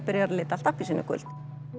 lita allt appelsínugult